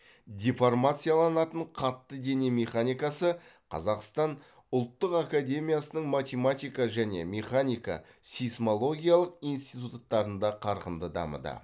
деформацияланатын қатты дене механикасы қазақстан ұлттық академисының математика және механика сейсмологиялық институттарында қарқынды дамыды